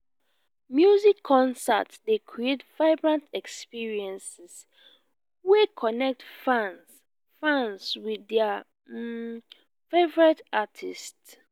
music concerts dey create vibrant experiences wey connect fans fans with their um favorite artists.